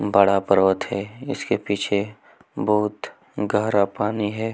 बड़ा पर्वत है इसके पीछे बहुत गहरा पानी है।